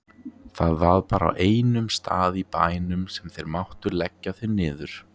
Það var bara á einum stað í bænum sem þeir máttu leggja þau niður.